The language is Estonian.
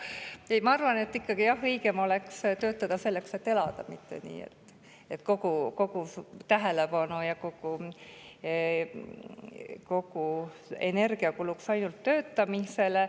Seega, ma arvan, et õigem oleks töötada selleks, et elada, mitte nii, et kogu tähelepanu ja energia kuluks ainult töötamisele.